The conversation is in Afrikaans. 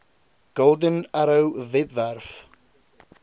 golden arrow webwerf